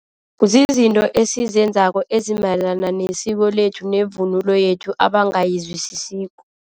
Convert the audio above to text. Zizinto esizenzako ezimayelana nesiko lethu nevunulo yethu abangayizwisisiko.